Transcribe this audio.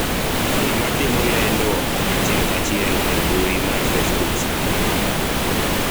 ng'ama timo lendo achiel kaachiel e mbui mar facebook sani